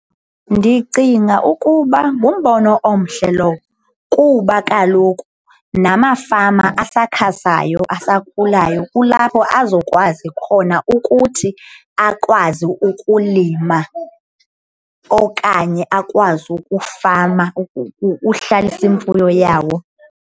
Ndicinga ukuba ngumbono omhle lowo kuba kaloku namafama asakhasayo, asakhulayo kulapho azokwazi khona ukuthi akwazi ukulima okanye akwazi ukufama uhlalisa imfuyo yawo.